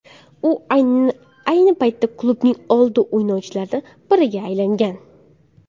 U ayni paytda klubning old o‘yinchilaridan biriga aylangan.